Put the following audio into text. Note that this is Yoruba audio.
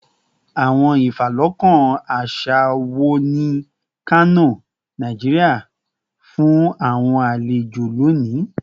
Awọn ifalọkan aṣa wo ni Kano, Nigeria, fun awọn alejo loni?